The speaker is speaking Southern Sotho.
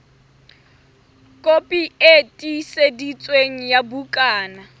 kopi e tiiseditsweng ya bukana